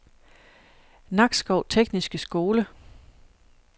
Nakskov Tekniske Skole